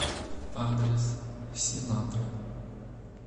адрес синатра